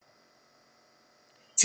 TV 2